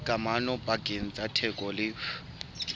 kamano pakeng tsa theko le